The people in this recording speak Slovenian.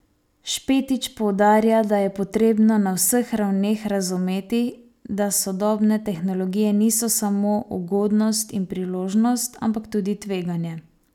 Špetič poudarja, da je potrebno na vseh ravneh razumeti, da sodobne tehnologije niso samo ugodnost in priložnost, ampak tudi tveganje.